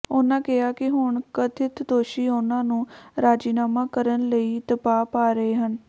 ਉਨ੍ਹਾਂ ਕਿਹਾ ਕਿ ਹੁਣ ਕਥਿਤ ਦੋਸ਼ੀ ਉਨ੍ਹਾਂ ਨੂੰ ਰਾਜ਼ੀਨਾਮਾ ਕਰਨ ਲਈ ਦਬਾਅ ਪਾ ਰਹੇ ਹਨ